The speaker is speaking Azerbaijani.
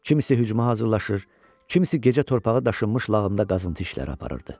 Kimsə hücuma hazırlaşır, kimsə gecə torpağa daşınmış lağımda qazıntı işləri aparırdı.